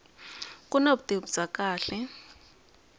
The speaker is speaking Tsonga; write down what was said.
ku na vutivi bya kahle